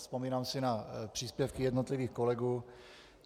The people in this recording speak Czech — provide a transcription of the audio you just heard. Vzpomínám si na příspěvky jednotlivých kolegů.